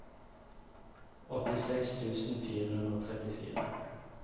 åttiseks tusen fire hundre og trettifire